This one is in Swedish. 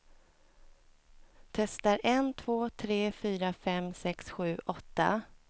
Testar en två tre fyra fem sex sju åtta.